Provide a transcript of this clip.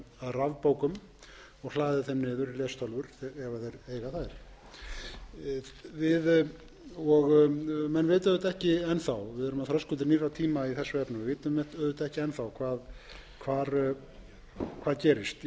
rafbókum og hlaðið þeim niður í lestölvur ef þeir eiga þær menn vita auðvitað ekki enn þá við erum á þröskuldi nýrra tíma í þessu vitum auðvitað ekki enn þá hvað gerist í þessu sumir ætla eins og